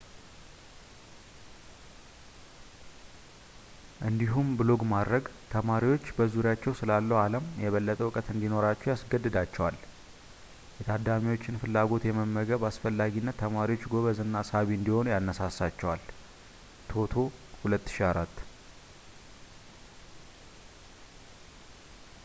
እንዲሁም ብሎግ ማድረግ ተማሪዎች በዙሪያቸው ስላለው ዓለም የበለጠ እውቀት እንዲኖራቸው ያስገድዳቸዋል።” የታዳሚዎችን ፍላጎት የመመገብ አስፈላጊነት ተማሪዎች ጎበዝ እና ሳቢ እንዲሆኑ ያነሳሳቸዋል toto 2004